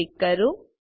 પર ક્લિક કરો